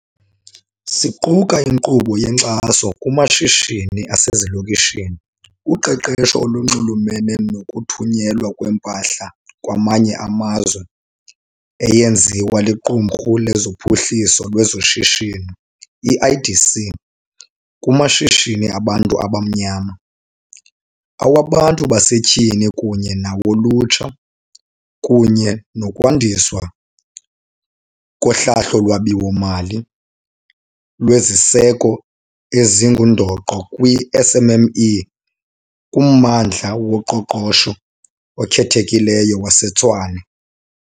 Ziquka inkqubo yenkxaso kumashishini asezilokishini, uqeqesho olunxulumene nokuthunyelwa kwempahla kwamanye amazwe eyenziwa liQumrhu loPhuhliso lwezoShishino, i-IDC, kumashishini abantu abamnyama, awabantu basetyhini kunye nawolutsha, kunye nokwandiswa kohlahlo lwabiwo-mali lweziseko ezingundoqo kwii-SMME kuMmandla woQoqosho oKhethekileyo waseTshwane.